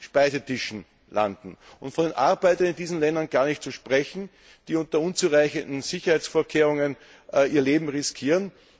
Speisetischen landen. Von den Arbeitern in diesen Ländern gar nicht zu sprechen, die unter unzureichenden Sicherheitsvorkehrungen ihr Leben riskieren.